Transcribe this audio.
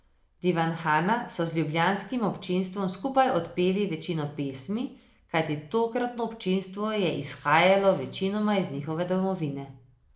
Divanhana so z ljubljanskim občinstvom skupaj odpeli večino pesmi, kajti tokratno občinstvo je izhajalo večinoma iz njihove domovine.